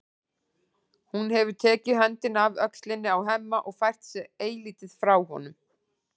Hún hefur tekið höndina af öxlinni á Hemma og fært sig eilítið frá honum.